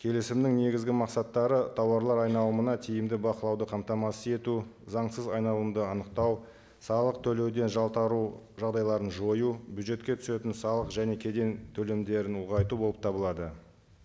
келісімнің негізгі мақсаттары тауарлар айналымына тиімді бақылауды қамтамасыз ету заңсыз айналымды анықтау салық төлеуден жалтару жағдайларын жою бюджетке түсетін салық және кеден төлемдерін ұлғайту болып табылады